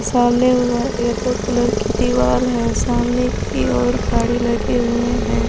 सामने yellow colour की दीवार है सामने की और गाड़ी लगे हुए हैं।